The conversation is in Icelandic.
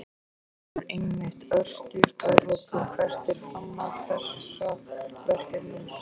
Þórhildur: Einmitt, örstutt að lokum, hvert er framhald þessa verkefnis?